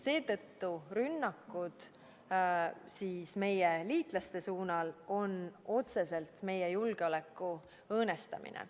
Seetõttu on rünnakud meie liitlaste suunal otseselt meie julgeoleku õõnestamine.